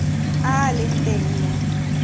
a a leng teng mo